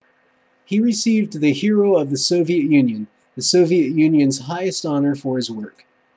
he received the hero of the soviet union the soviet union's highest honor for his work